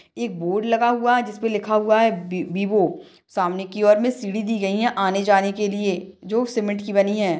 एक बोर्ड लगा हुआ जिस पे लिखा हुआ है बी विवो सामने की और मे सीडी दी गयी है। आने जाने के लिए जो सिमेंट की बनी है।